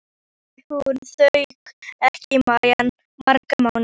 Nú sæi hún þau ekki í marga mánuði.